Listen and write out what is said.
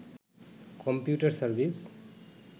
computer service